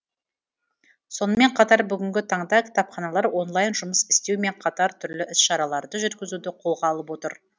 сонымен қатар бүгінгі таңда кітапханалар онлайн жұмыс істеу мен қатар түрлі іс шараларды жүргізуді қолға алып отыр